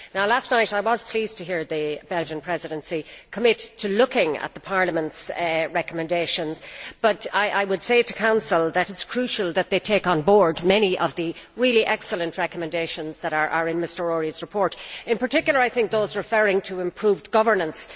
Last night, I was pleased to hear the Belgian Presidency commit to looking at the Parliament's recommendations. I would say to the Council that it is crucial that they take on board many of the really excellent recommendations in Mr Őry's report in particular, I think, those referring to improved governance.